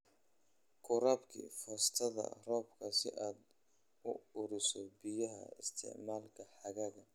Ku rakib foostada roobka si aad u ururiso biyaha isticmaalka xagaaga